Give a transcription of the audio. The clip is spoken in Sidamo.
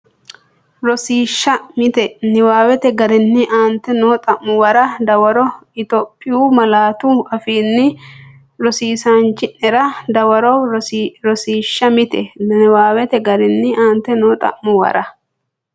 Rosiishsha Mite Niwaawete garinni aante noo xa’muwara dawaro Itophiyu malaatu afiinni rosiisaanchi’nera dawarre Rosiishsha Mite Niwaawete garinni aante noo xa’muwara.